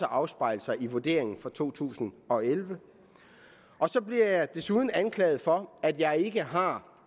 afspejle sig i vurderingen for to tusind og elleve så bliver jeg desuden anklaget for at jeg ikke har